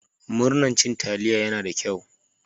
Murman cin taliya ya na da kyau.